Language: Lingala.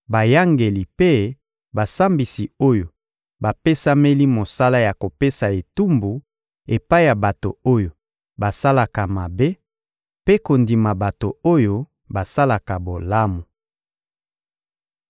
bayangeli mpe basambisi oyo bapesameli mosala ya kopesa etumbu epai ya bato oyo basalaka mabe, mpe kondima bato oyo basalaka bolamu.